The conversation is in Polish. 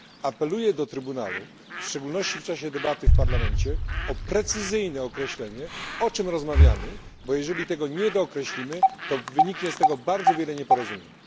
Apeluję do Trybunału, w szczególności w czasie debaty w Parlamencie, o precyzyjne określanie, o czym rozmawiamy, bo jeżeli tego nie dookreślimy, to wyniknie z tego bardzo wiele nieporozumień.